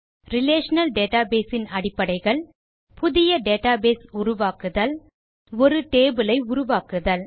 relational database இன் அடிப்படைகள் புதிய டேட்டாபேஸ் உருவாக்குதல் ஒரு டேபிள் ஐ உருவாக்குதல்